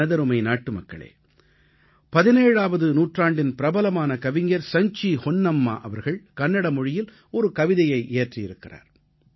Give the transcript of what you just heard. எனதருமை நாட்டுமக்களே 17ஆவது நூற்றாண்டின் பிரபலமான கவிஞர் சஞ்சீ ஹொன்னம்மா அவர்கள் கன்னட மொழியில் ஒரு கவிதையை இயற்றியிருந்தார்